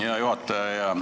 Hea juhataja!